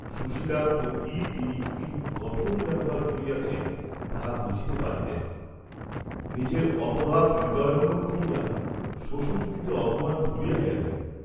সুশীলার প্রতি তিনি কিরূপ কঠোর ব্যবহার করিয়াছেন, তাহা বুঝিতে পারিলেন; নিজের অপরাধ হৃদয়ঙ্গম করিয়া, শ্বশুরকৃত অপমান ভুলিয়া গেলেন।